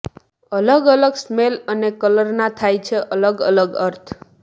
અલગ અલગ સ્મેલ અને કલરના થાય છે અલગ અલગ અર્થ